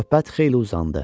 Söhbət xeyli uzandı.